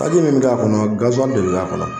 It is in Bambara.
Kasi minnu b'a kɔnɔ gansɔn de b'a kɔnɔ